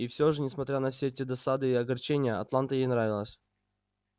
и всё же несмотря на все эти досады и огорчения атланта ей нравилась